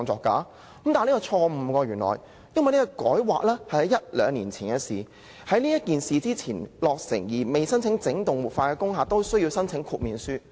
但是，原來這是錯誤的，因為這項分區計劃大綱圖修訂是兩年前的事，在此改劃前落成而未申請整幢活化的工廈，都需要申請豁免書。